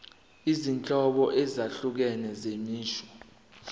izinhlobo ezahlukene zemisho